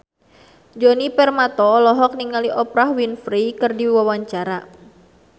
Djoni Permato olohok ningali Oprah Winfrey keur diwawancara